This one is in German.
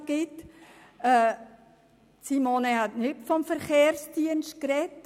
Grossrätin Machado Rebmann hat nicht vom Verkehrsdienst gesprochen.